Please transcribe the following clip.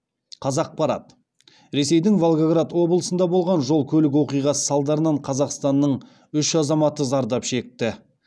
қазақпарат ресейдің волгоград облысында болған жол көлік оқиғасы салдарынан қазақстанның үш азаматы зардап шекті